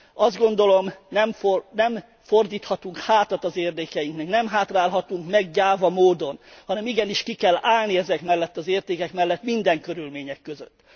Azt gondolom, nem fordíthatunk hátat az érdekeiknek, nem hátrálhatunk meg gyáva módon, hanem igenis ki kell állni ezek mellett az értékek mellet minden körülmények között.